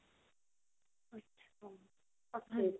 okay